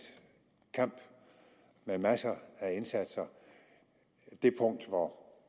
kamp med masser af indsatser det punkt hvor